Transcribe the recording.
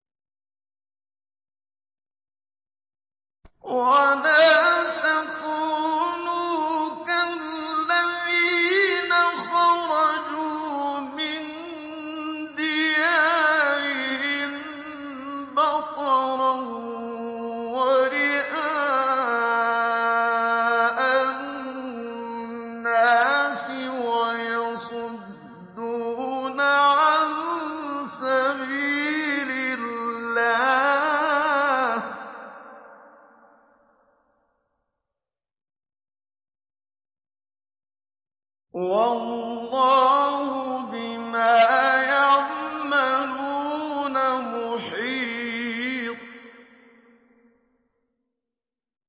وَلَا تَكُونُوا كَالَّذِينَ خَرَجُوا مِن دِيَارِهِم بَطَرًا وَرِئَاءَ النَّاسِ وَيَصُدُّونَ عَن سَبِيلِ اللَّهِ ۚ وَاللَّهُ بِمَا يَعْمَلُونَ مُحِيطٌ